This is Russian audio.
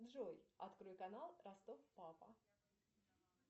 джой открой канал ростов папа